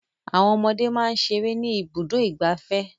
Àwọn ọmọdé máa ń ṣeré ní Ibùdó-ìgbafẹ́.